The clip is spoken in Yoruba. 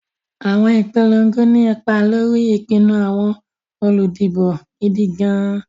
Àwọn ìpolongo ní ipa lórí ìpinnu àwọn olùdìbò gidi gan-an.